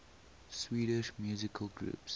swedish musical groups